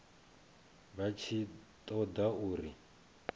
vha tshi ṱo ḓa uri